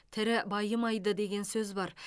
тірі байымайды деген сөз бар